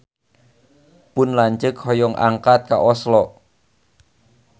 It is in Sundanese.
Pun lanceuk hoyong angkat ka Oslo